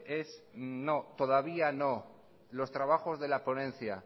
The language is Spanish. es no todavía no los trabajos de la ponencia